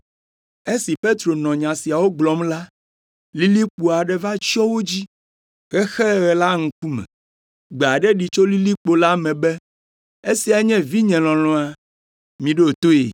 Esi Petro nɔ nya siawo gblɔm la, lilikpo aɖe va tsyɔ wo dzi, hexe ɣe la ŋkume. Gbe aɖe ɖi tso lilikpo la me be, “Esia nye vinye lɔlɔ̃a. Miɖo toe.”